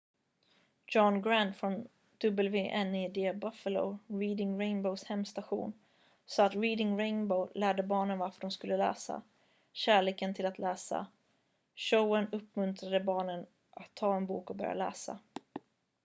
"john grant från wned buffalo reading rainbow's hemstation sa att "reading rainbow lärde barnen varför de skulle läsa ... kärleken till att läsa - [showen] uppmuntrade barnen att ta en bok och börja läsa.""